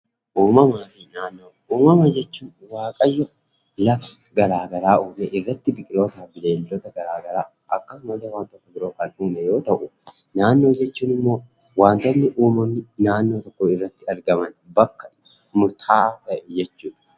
Uumamaa fi Naannoo. Uumama jechuun waaqayyoo lafa uumee irratti biqilootaa fi bineeldota gara garaa akkasumas illee wantoota biroo kan uume yoo ta’u, naannoo jechuun immoo wanta uumamni irratti argaman bakka murtaa'aa ta'e jechuudha.